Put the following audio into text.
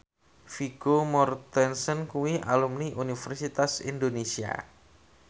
Vigo Mortensen kuwi alumni Universitas Indonesia